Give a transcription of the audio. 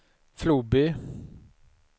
Floby